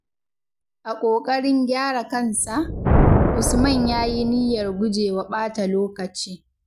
A ƙoƙarin gyara kansa, Usman ya yi niyyar gujewa ɓata lokaci.